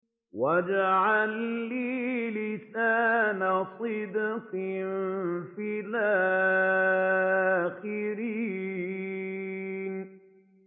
وَاجْعَل لِّي لِسَانَ صِدْقٍ فِي الْآخِرِينَ